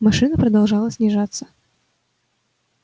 машина продолжала снижаться